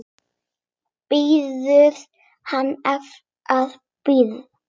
Biður hann að bíða.